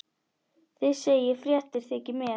Þið segið fréttir þykir mér!